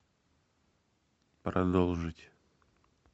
продолжить